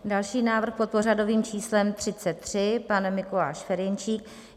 Další návrh, pod pořadovým číslem 33, pan Mikuláš Ferjenčík.